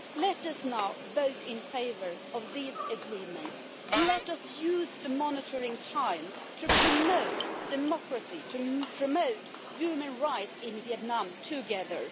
Let us now vote in favour of these agreements, and let us use the monitoring time to promote democracy, to promote human rights in Vietnam together.